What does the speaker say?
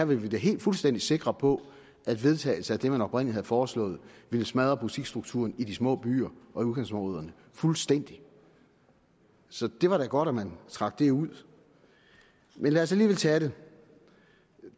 vi da helt fuldstændig sikre på at vedtagelse af det man oprindelig havde foreslået ville smadre butiksstrukturen i de små byer og i udkantsområderne fuldstændig så det var da godt man trak det ud men lad os alligevel tage det